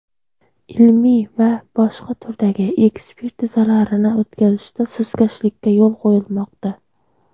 ilmiy va boshqa turdagi ekspertizalarini o‘tkazishda sustkashlikka yo‘l qo‘yilmoqda.